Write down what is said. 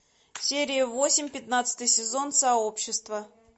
серия восемь пятнадцатый сезон сообщество